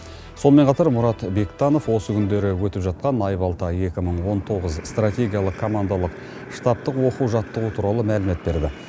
сонымен қатар мұрат бектанов осы күндері өтіп жатқан айбалта екі мың он тоғыз стратегиялық командалық штабтық оқу жаттығу туралы мәлімет берді